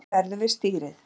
Enginn verður við stýrið